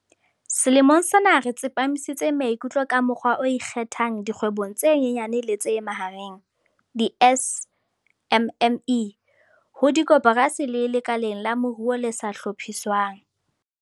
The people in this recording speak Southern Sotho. Selemong sena re tsepamisitse maikutlo ka mokgwa o ikgethang dikgwebong tse nyenyane le tse mahareng, di-SMME, ho dikoporasi le lekaleng la moruo le sa hlophiswang.